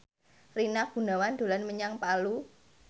Rina Gunawan dolan menyang Palu